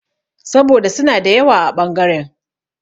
Saboda suna da yawa a ɓangaren.